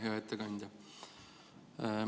Hea ettekandja!